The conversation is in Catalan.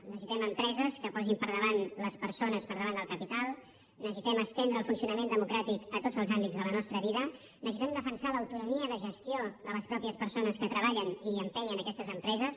necessitem empreses que posin les persones per davant del capital necessitem estendre el funcionament democràtic a tots els àmbits de la nostra vida necessitem defensar l’autonomia de gestió de les mateixes persones que treballen i empenyen aquestes empreses